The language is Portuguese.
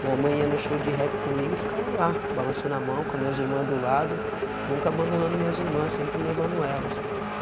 Minha mãe ia no show de rap comigo e ficava lá, balançando a mão com a minhas irmãs do lado, nunca abandonando minhas irmãs, sempre levando elas.